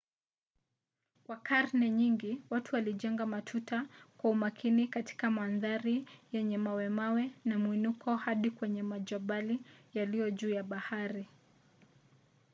kwa karne nyingi watu walijenga matuta kwa umakini katika mandhari yenye mawemawe na mwinuko hadi kwenye majabali yaliyo juu ya bahari